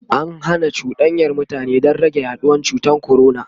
an Hana cuɗanyar mutane Dan rage yaduwan cutan corona